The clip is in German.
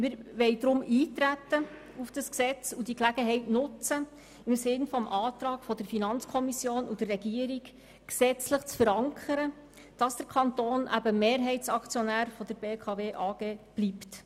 Wir wollen deshalb auf das Gesetz eintreten und die Gelegenheit nutzen, den Antrag der Finanzkommission und der Regierung gesetzlich zu verankern, damit der Kanton Mehrheitsaktionär der BKW bleibt.